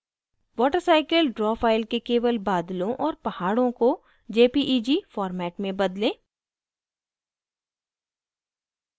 watercycle draw file के केवल बादलों और पहाड़ों को jpeg format में बदलें